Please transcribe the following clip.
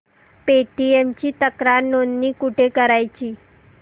Paytm ची तक्रार नोंदणी कुठे करायची